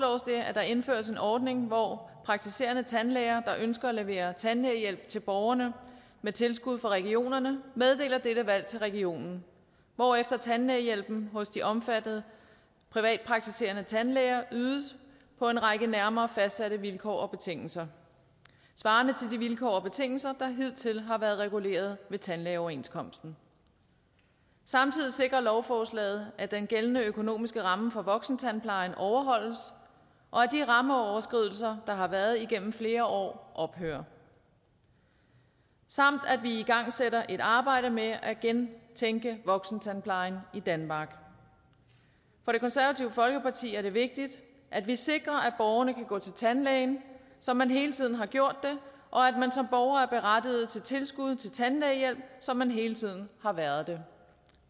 at der indføres en ordning hvor praktiserende tandlæger der ønsker at levere tandlægehjælp til borgerne med tilskud fra regionerne meddeler dette valg til regionen hvorefter tandlægehjælp hos de omfattede privatpraktiserende tandlæger ydes på en række nærmere fastsatte vilkår og betingelser svarende til de vilkår og betingelser der hidtil har været reguleret ved tandlægeoverenskomsten samtidig sikrer lovforslaget at den gældende økonomiske ramme for voksentandplejen overholdes og at de rammeoverskridelser der har været igennem flere år ophører samt at vi igangsætter et arbejde med at gentænke voksentandplejen i danmark for det konservative folkeparti er det vigtigt at vi sikrer at borgerne kan gå til tandlægen som man hele tiden har gjort det og at man som borger er berettiget til tilskud til tandlægehjælp som man hele tiden har været det